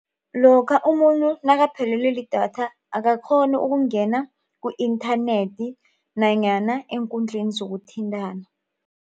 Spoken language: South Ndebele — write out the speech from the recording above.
Lokha umuntu nakaphelelwe lidatha akakghoni ukungena ku-internet nanyana eenkundleni zokuthintana.